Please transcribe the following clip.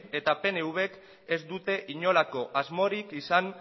eta pnvk ez dute inolako asmorik izan